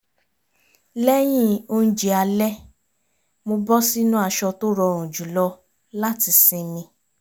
lẹ́yìn oúnjẹ alẹ́ mo bọ́ sínú aṣọ tó rọrùn jùlọ láti sinmi